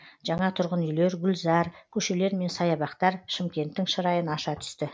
жаңа тұрғын үйлер гүлзар көшелер мен саябақтар шымкенттің шырайын аша түсті